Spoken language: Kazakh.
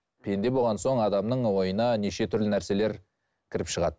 пенде болған соң адамның ойына неше түрлі нәрселер кіріп шығады